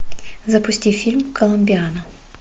запусти фильм коломбиана